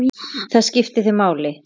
Það skipti þig máli.